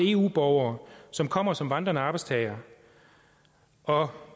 eu borgere som kommer som vandrende arbejdstagere og